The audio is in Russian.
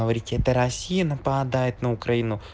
это россия нападает на украину